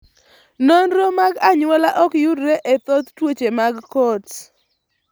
Nonro mag anyuola ok yudre e thoth tuoche mag Coats.